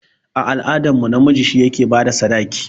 A al'adar mu, namiji shi yake bada sadaki